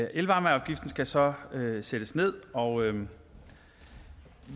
elvarmeafgiften skal så sættes ned og